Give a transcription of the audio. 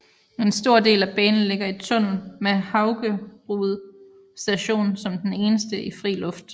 En stor del af banen ligger i tunnel med Haugerud Station som den eneste i fri luft